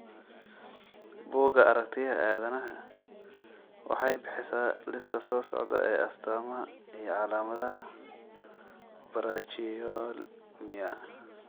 Bugga Aragtiyaha Aadanaha waxay bixisaa liiska soo socda ee astaamaha iyo calaamadaha Brachyolmia.